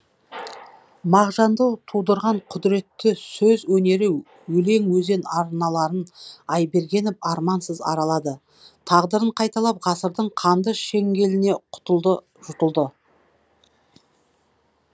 мағжанды тудырған құдіретті сөз өнері өлең өзен арналарын айбергенов армансыз аралады тағдырын қайталап ғасырдың қанды шеңгеліне құтылды жұтылды